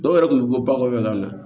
Dɔw yɛrɛ kun bɛ bɔ bakuru la